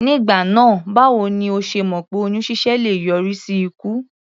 Nígbà náà báwo ni o ṣe mọ̀ pé oyún ṣíṣẹ́ le yọrí sí ikú?